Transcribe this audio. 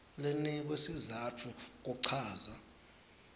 linikwe sizatfu kuchaza